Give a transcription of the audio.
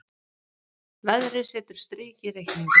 Veðrið setur strik í reikninginn